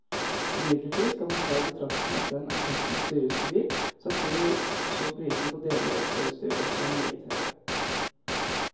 Imidlertid skal man ta i betraktning at den er testens dyreste bil, samtidig som prisene på deler og ekstrautstyr også er meget høye.